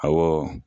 Awɔ